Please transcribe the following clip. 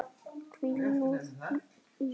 Hvíl þú nú í friði.